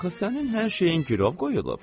Axı sənin hər şeyin girov qoyulub.